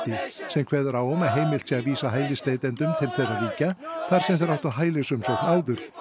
sem kveður á um að heimilt sé að vísa hælisleitendum til þeirra ríkja þar sem þeir áttu hælisumsókn áður